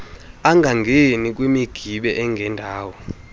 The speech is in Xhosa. angangeni kwimigibe engendawo